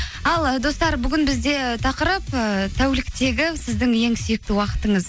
ал ы достар бүгін бізде тақырып ііі тәуліктегі сіздің ең сүйікті уақытыңыз